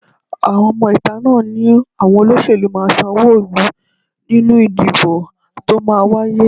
Àwọn ọmọ-ìta náà ni àwọn olóṣèlú máa ṣàmúlò nínú ìdìbò tó máa wáyé